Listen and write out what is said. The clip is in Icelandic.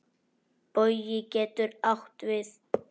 Bogi getur átt við